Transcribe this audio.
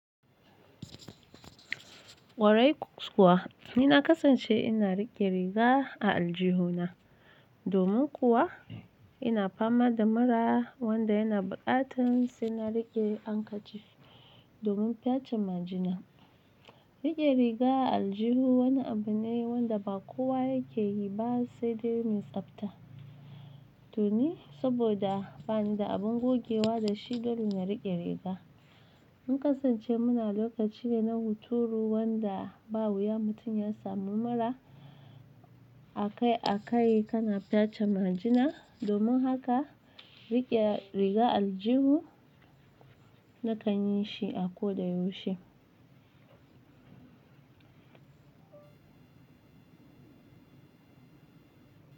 Kwarai kuwa nina kasance ina riƙe riga a aljihuna domin kuwa ina fama da mura wanda yana buƙatan sai na riƙe handkerchief domin fyace majina. Riƙe riga a aljihu wani abu ne wanda ba kowa yake yi ba sai dai mai tsabta. To ni saboda bani da abin gogewa da shi, dole na riƙe riga. Mun kasance muna lokaci ne na hunturu wanda ba wuya mutum ya samu mura a kai a kai kana fyace majina domin haka riƙe riga a aljihu na kan yi shi a ko da yaushe.